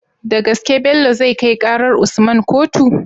Da gaske Bello zai kai karar usman kotu?